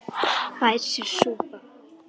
Fær sér sopa.